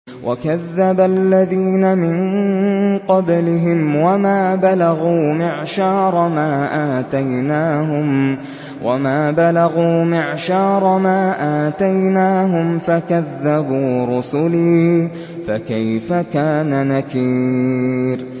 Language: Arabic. وَكَذَّبَ الَّذِينَ مِن قَبْلِهِمْ وَمَا بَلَغُوا مِعْشَارَ مَا آتَيْنَاهُمْ فَكَذَّبُوا رُسُلِي ۖ فَكَيْفَ كَانَ نَكِيرِ